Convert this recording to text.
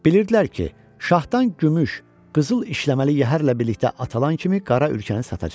Bilirdilər ki, şahdan gümüş, qızıl işləməli yəhərlə birlikdə atılan kimi qara ülkəni satacaq.